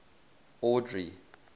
audrey